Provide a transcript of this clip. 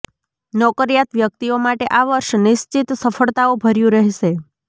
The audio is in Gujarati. નોકરિયાત વ્યક્તિઓ માટે આ વર્ષ નિશ્ચિત સફળતાઓ ભર્યુ રહેશે